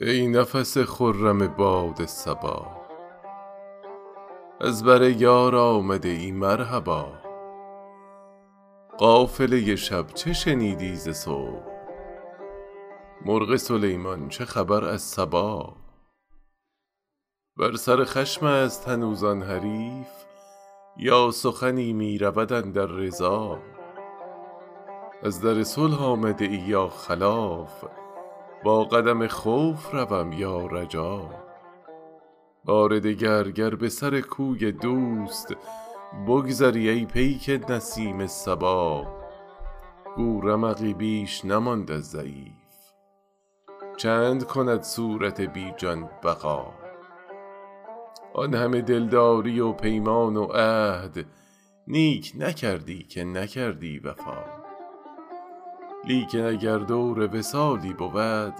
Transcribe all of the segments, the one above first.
ای نفس خرم باد صبا از بر یار آمده ای مرحبا قافله شب چه شنیدی ز صبح مرغ سلیمان چه خبر از سبا بر سر خشم است هنوز آن حریف یا سخنی می رود اندر رضا از در صلح آمده ای یا خلاف با قدم خوف روم یا رجا بار دگر گر به سر کوی دوست بگذری ای پیک نسیم صبا گو رمقی بیش نماند از ضعیف چند کند صورت بی جان بقا آن همه دلداری و پیمان و عهد نیک نکردی که نکردی وفا لیکن اگر دور وصالی بود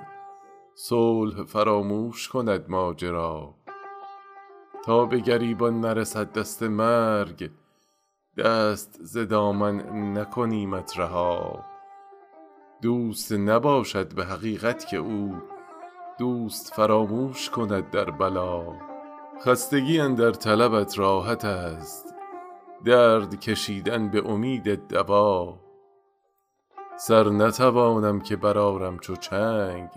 صلح فراموش کند ماجرا تا به گریبان نرسد دست مرگ دست ز دامن نکنیمت رها دوست نباشد به حقیقت که او دوست فراموش کند در بلا خستگی اندر طلبت راحت است درد کشیدن به امید دوا سر نتوانم که برآرم چو چنگ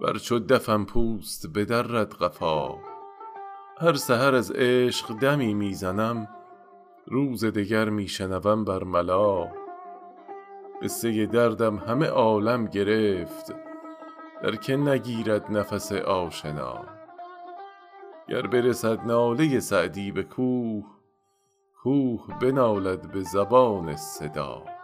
ور چو دفم پوست بدرد قفا هر سحر از عشق دمی می زنم روز دگر می شنوم بر ملا قصه دردم همه عالم گرفت در که نگیرد نفس آشنا گر برسد ناله سعدی به کوه کوه بنالد به زبان صدا